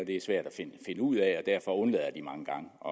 det er svært at finde ud af derfor undlader de mange gange at